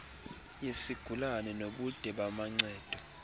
yesigulana nobude bamancedo